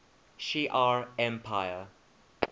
shi ar empire